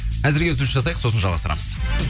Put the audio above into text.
әзірге үзіліс жасайық сосын жалғастырамыз